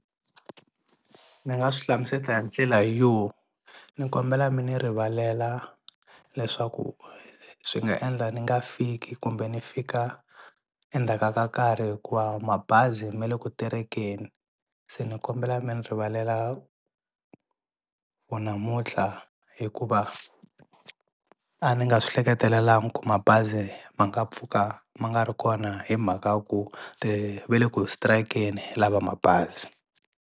Ni nga swi hlamusela hi ndlela yo ni kombela mi ni rivalela leswaku swi nga endla ni nga fiki kumbe ni fika endzhaka ka nkarhi hikuva mabazi me le ku terekeni se ni kombela mi ni rivalela for namuntlha hikuva a ni nga swi hleketelelangi ku mabazi ma nga pfuka ma nga ri kona hi mhaka ku ve le ku strike-ni lava mabazi.